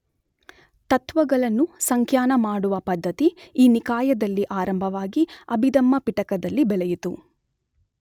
ತತ್ತ್ವಗಳನ್ನು ಸಂಖ್ಯಾನ ಮಾಡುವ ಪದ್ಧತಿ ಈ ನಿಕಾಯದಲ್ಲಿ ಆರಂಭವಾಗಿ ಅಭಿದಮ್ಮಪಿಟಕದಲ್ಲಿ ಬೆಳೆಯಿತು.